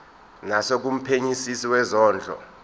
naso kumphenyisisi wezondlo